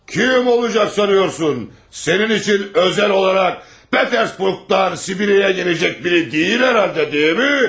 Kim olacaq sanıyorsun? Sənin üçün özəl olaraq Peterburqdan Sibiriyə gələcək biri deyil hər halda, deyilmi?